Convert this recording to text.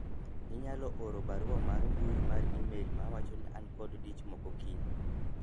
inyalo oro barua mar mbui mar email mawacho ni an kod dich moko kiny